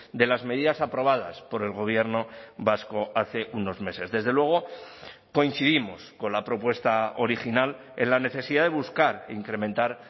de las medidas aprobadas por el gobierno vasco hace unos meses desde luego coincidimos con la propuesta original en la necesidad de buscar e incrementar